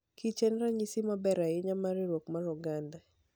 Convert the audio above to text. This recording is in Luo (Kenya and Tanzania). kich en ranyisi maber ahinya mar riwruok mar oganda.